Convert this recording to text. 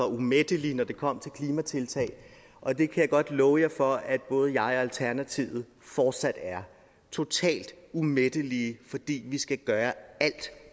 umættelig når det kom til klimatiltag og det kan jeg godt love jer for at både jeg og alternativet fortsat er totalt umættelige fordi vi skal gøre alt